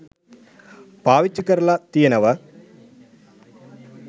පාවිච්චි කරල තියෙනව